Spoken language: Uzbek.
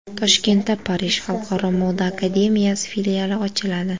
Toshkentda Parij xalqaro moda akademiyasi filiali ochiladi.